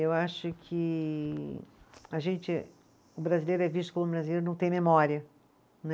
Eu acho que a gente, o brasileiro é visto como o brasileiro não tem memória, né?